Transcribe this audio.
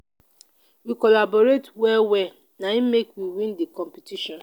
we collaborate well-well na im make we win di competition.